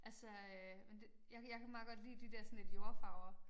Altså øh men jeg kan jeg kan meget godt lide de dér sådan lidt jordfarver